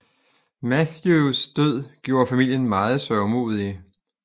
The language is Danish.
Matthews død gjorde familien meget sørgmodige